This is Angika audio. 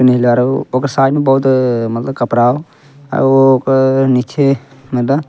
नीला रहो ओकर साइड म बहुत अ मतलब कपड़ा हो अ ओ क निखे मत --